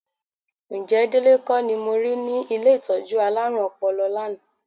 Ǹjẹ́ Délé kọ́ ni mo rí ní ilé ìtọ́jú alárùn ọpọlọ lánàá?